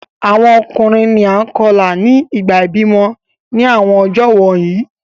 Awọn ọkunrin ni a kọla ni ìgbà ibimọ ni awọn ọjọ wọnyi